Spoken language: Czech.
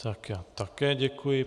Tak já také děkuji.